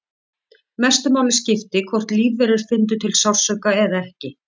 Mestu máli skipti hvort lífverur fyndu til sársauka eða ekki.